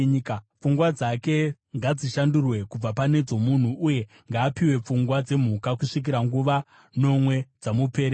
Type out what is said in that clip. Pfungwa dzake ngadzishandurwe kubva pane dzomunhu uye ngaapiwe pfungwa dzemhuka, kusvikira nguva nomwe dzamuperera.